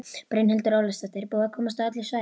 Brynhildur Ólafsdóttir: Er búið að komast á öll svæði?